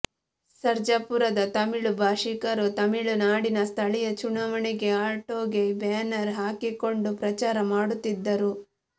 ಸರ್ಜಾಪುರದ ತಮಿಳು ಭಾಷಿಕರು ತಮಿಳುನಾಡಿನ ಸ್ಥಳೀಯ ಚುನಾವಣೆಗೆ ಆಟೋಗೆ ಬ್ಯಾನರ್ ಹಾಕಿಕೊಂಡು ಪ್ರಚಾರ ಮಾಡುತ್ತಿದ್ದರು